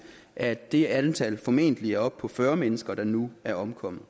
at det antal formentlig er oppe på fyrre fyrre mennesker der nu er omkommet